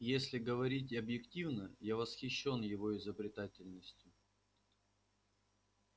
если говорить объективно я восхищён его изобретательностью